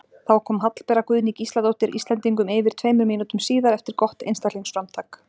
Þá kom Hallbera Guðný Gísladóttir Íslendingum yfir tveimur mínútum síðar eftir gott einstaklingsframtak.